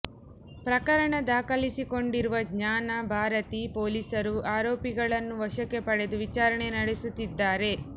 ಪ್ರಕರಣ ದಾಖಲಿಸಿಕೊಂಡಿರುವ ಜ್ಞಾನ ಭಾರತಿ ಪೊಲೀಸರು ಆರೋಪಿಗಳನ್ನು ವಶಕ್ಕೆ ಪಡೆದು ವಿಚಾರಣೆ ನಡೆಸುತ್ತಿದ್ದಾರೆ